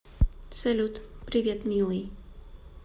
салют привет милый